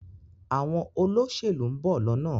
Àwọn Olóṣèlú nbọ lọnà.